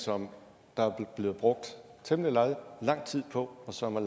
som der er blevet brugt temmelig lang lang tid på og som er